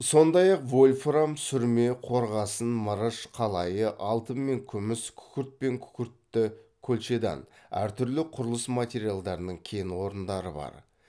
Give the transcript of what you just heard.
сондай ақ вольфрам сүрме қорғасын мырыш қалайы алтын мен күміс күкірт пен күкіртті колчедан әр түрлі құрылыс материалдарының кен орындары бар